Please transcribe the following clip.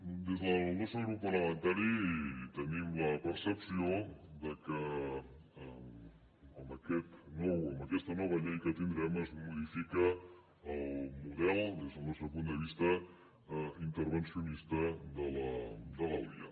des del nostre grup parlamentari tenim la percepció que amb aquesta nova llei que tindrem es modifica el model des del nostre punt de vista intervencionista de la liiaa